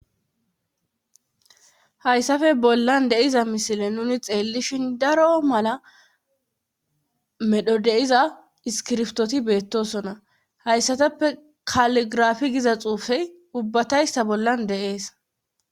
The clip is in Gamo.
hayssafe bollan deiza misile nuni xeellishin daro mala medho deiza iskirftoti beettosona hayssatappe kaligrafi giza xuufey ubbatayssa bollan de,es